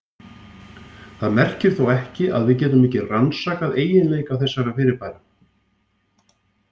Það merkir þó ekki að við getum ekki rannsakað eiginleika þessara fyrirbæra.